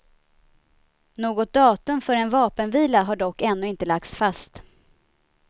Något datum för en vapenvila har dock ännu inte lagts fast.